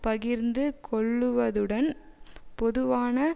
பகிர்ந்து கொள்ளுவதுடன் பொதுவான